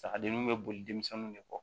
Sagadenninw bɛ boli denmisɛnninw de kɔ